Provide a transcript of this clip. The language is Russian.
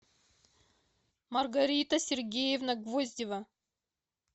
маргарита сергеевна гвоздева